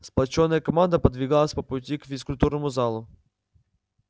сплочённая команда подвигалась по пути к физкультурному залу